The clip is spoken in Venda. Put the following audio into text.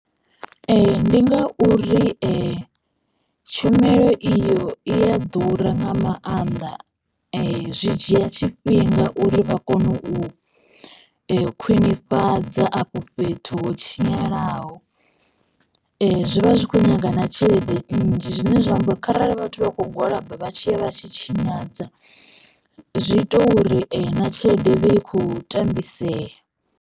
Ndi nga uri tshumelo iyo i a ḓura nga maanḓa zwi dzhia tshifhinga uri vha kone u khwinifhadza afho fhethu ho tshinyalaho. Zwivha zwi kho nyaga na tshelede nnzhi zwine zwa amba uri kharali vhathu vha kho gwalaba vha tshiya vha tshi tshinyadza zwi ita uri na tshelede i vhe i khou tambisea.